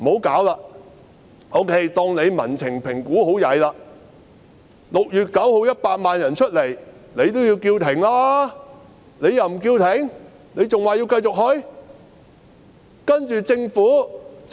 假設她對民情的評估做得很差 ，6 月9日有100萬人出來遊行後，她亦應該叫停吧？